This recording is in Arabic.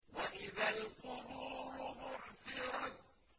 وَإِذَا الْقُبُورُ بُعْثِرَتْ